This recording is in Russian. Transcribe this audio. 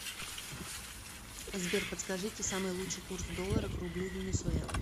сбер подскажите самый лучший курс доллара к рублю в венесуэла